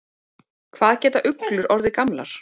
Hvað geta uglur orðið gamlar?